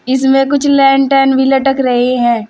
इसमें कुछ लेंटेन भी लटक रही हैं।